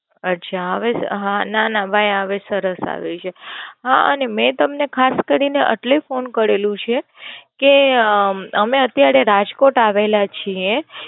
અચ્છા, હવે હા અઅઅઅ ના ના ભાઈ હવે સરસ આવે છે. હા અને મેં તમને ખાસ કરીને એટલે ફોન કરેલું છે કે અઅઅ અમે અત્યારે રાજકોટ આવેલા છીએ